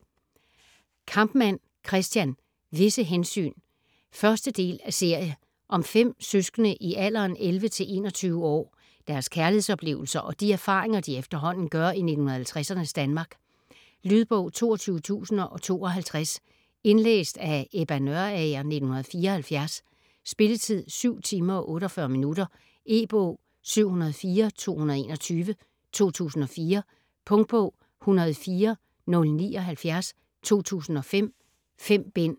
Kampmann, Christian: Visse hensyn 1. del af serie. Om fem søskende i alderen 11-21 år, deres kærlighedsoplevelser, og de erfaringer, de efterhånden gør i 1950'ernes Danmark. Lydbog 22052 Indlæst af Ebba Nørager, 1974. Spilletid: 7 timer, 48 minutter. E-bog 704221 2004. Punktbog 104079 2005. 5 bind.